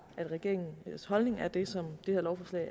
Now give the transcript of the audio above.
at regeringens holdning er den som